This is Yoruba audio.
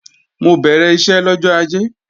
Mo bẹ̀rẹ̀ iṣẹ́ lọ́jọ́ Ajé